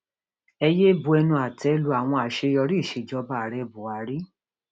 ẹ yéé bu ẹnu àtẹ lu àwọn àṣeyọrí ìsejọba ààrẹ buhari